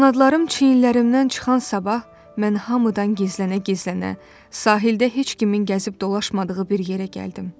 Qanadlarım çiyinlərimdən çıxan sabah mən hamıdan gizlənə-gizlənə sahildə heç kimin gəzib dolaşmadığı bir yerə gəldim.